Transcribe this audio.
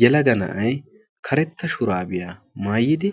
Yelaga na'ay karetta shuraabiyaa maayidi